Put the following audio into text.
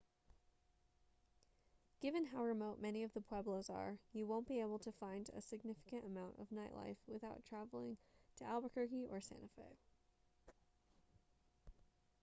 given how remote many of the pueblos are you won't be able to find a significant amount of nightlife without traveling to albuquerque or santa fe